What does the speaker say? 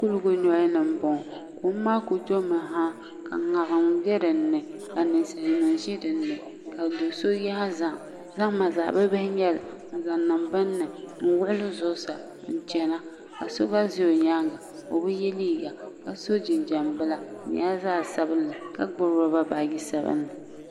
Kuligi nolini m bɔŋɔ kom maa kuli domi ha ka ŋariŋ be dini ka naainsalinim ʒi dinni ka do so yaa zahim zahim maa zaɣ bibihi n nyɛli n zaŋ niŋ bini ni n wuɣuli zuɣusaa n chana ka so gba be o nyaanga o bi yɛ liiga ka so jinjam bila di nyɛla zaɣ sabinli ka gbibi lɔba baaji sabinli.